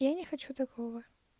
я не хочу такого